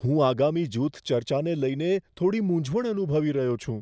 હું આગામી જૂથ ચર્ચાને લઈને થોડી મૂંઝવણ અનુભવી રહ્યો છું.